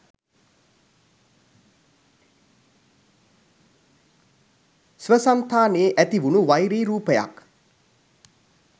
ස්වසන්තානයේ ඇති වුණු වෛරී රූපයක්